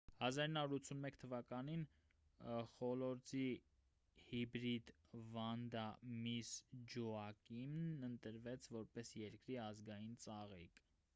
1981 թվականին խոլորձի հիբրիդ վանդա միսս ջոակիմն ընտրվեց որպես երկրի ազգային ծաղիկ